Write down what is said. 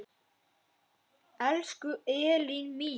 Elsku Elín mín.